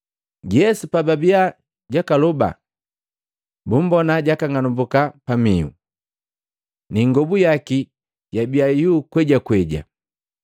Yesu pababiya jakaloba, bumbona jakang'anumbuka pamihu, ni ingobu yaki yabia iyuu kwejakweja.